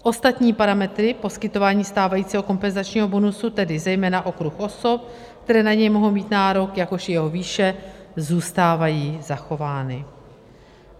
Ostatní parametry poskytování stávajícího kompenzačního bonusu, tedy zejména okruh osob, které na něj mohou mít nárok, jakož i jeho výše, zůstávají zachovány.